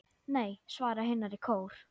Nei, svara hinar í kór.